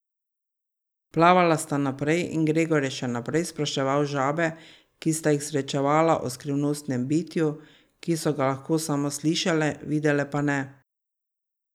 Plavala sta naprej in Gregor je še naprej spraševal žabe, ki sta jih srečevala o skrivnostnem bitju, ki so ga lahko samo slišale, videle pa ne.